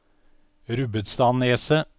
Rubbestadneset